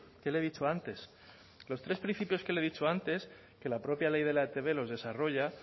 que le he dicho antes los tres principios que le he dicho antes que la propia ley de la etb los desarrolla